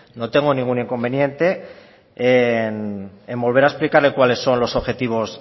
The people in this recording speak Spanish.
no tengo ningún inconveniente en volver a explicarle cuáles son los objetivos